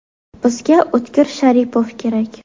Bizga O‘tkir Sharipov kerak.